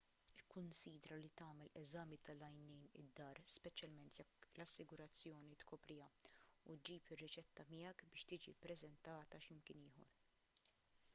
ikkunsidra li tagħmel eżami tal-għajnejn id-dar speċjalment jekk l-assigurazzjoni tkopriha u ġġib ir-riċetta miegħek biex tiġi ppreżentata x'imkien ieħor